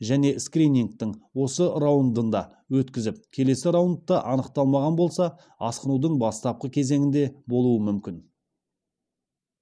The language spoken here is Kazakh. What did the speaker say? және скринингтің осы раундында өткізіп келесі раундта анықталған болса асқынудың бастапқы кезеңінде болуы мүмкін